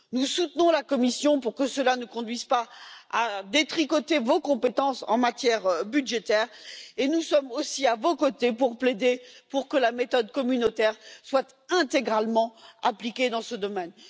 Nous soutenons la Commission pour que cela ne conduise pas à détricoter vos compétences en matière budgétaire et nous sommes aussi à vos côtés pour plaider pour que la méthode communautaire soit intégralement appliquée dans ce domaine.